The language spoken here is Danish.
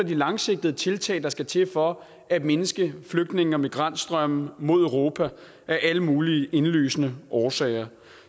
de langsigtede tiltag der skal til for at mindske flygtninge og migrantstrømme mod europa af alle mulige indlysende årsager